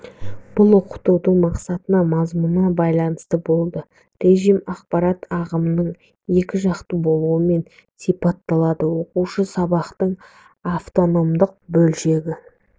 бұл оқытудың мақсатына мазмұнына байланысты болды режим ақпарат ағымының екіжақты болуымен сипатталады оқушы сабақтың автономдық бөлшегі